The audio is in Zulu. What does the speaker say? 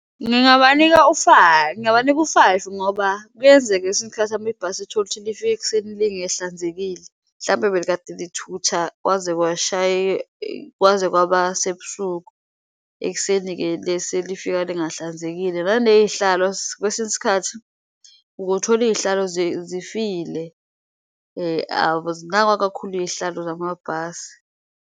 Ngingabanika ngingabanika u-five ngoba kuyenzeka kwesinye isikhathi mhlampe ibhasi lifike ekuseni lingehlanzekile mhlawumpe belikade lithutha kwaze kwaba sebusuku, ekuseni-ke selifika lingahlanzekile. Naney'hlalo kwesinye isikhathi ukuthole iy'hlalo zifile azinakwa kakhulu iy'hlalo zamabhasi.